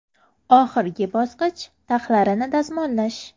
Oxirgi bosqich taxlarini dazmollash.